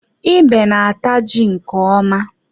Ebe na-ata ji nke ọma.